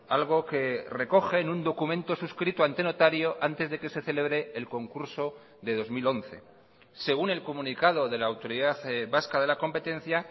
algo que recoge en un documento suscrito ante notario antes de que se celebre el concurso de dos mil once según el comunicado de la autoridad vasca de la competencia